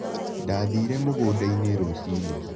Ndathiire mũgũnda-inĩ rũcinĩ.